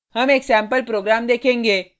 हम एक sample program देखेंगे